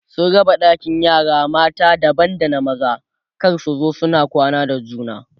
sun raba ɗakin yara mata daban da na maza kada su zo suna kwana da juna